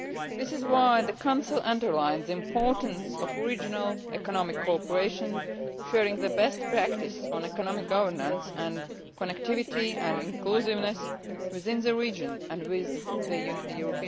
This is why the Council underlines the importance of regional economic cooperation, sharing the best practice on economic governance and connectivity and inclusiveness within the region and with the EU.